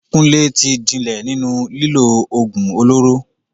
Kunle ti jinlẹ̀ nínú lílo ògùn olóró.